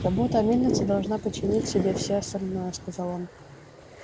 забота о мельнице должна подчинить себе все остальное сказал он